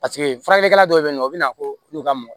Paseke faralikɛla dɔw be yen nɔ o be na ko n'u ka mɔ